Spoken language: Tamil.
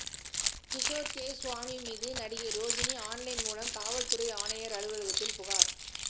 கிஷோர் கே ஸ்வாமி மீது நடிகை ரோகிணி ஆன்லைன் மூலம் காவல்துறை ஆணையர் அலுவலகத்தில் புகார்